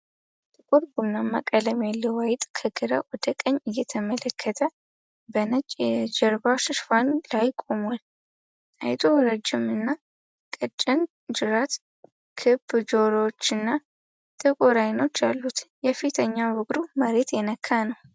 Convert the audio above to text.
ጥቁር ቡናማ ቀለም ያለው አይጥ ከግራ ወደ ቀኝ እየተመለከተ በነጭ የጀርባ ሽፋን ላይ ቆሟል። አይጡ ረጅምና ቀጭን ጅራት፣ ክብ ጆሮዎችና ጥቁር አይኖች አሉት፤ የፊተኛው እግሩ መሬት የነካ ነው።